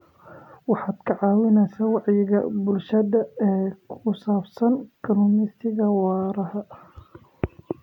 Waxaad ka caawinaysaa wacyiga bulshada ee ku saabsan kalluumaysiga waara.